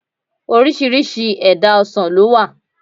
Orísirísi èdá ọsàn lówà